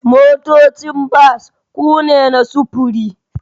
Motocin bas ku ne na sufuri